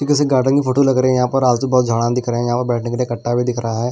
जैसे गार्डन की फोटो लग रही है यहां पर आस पास बहुत झाड़ें दिख रहे हैं यहां पर बैठने के लिए भी दिख रहा है।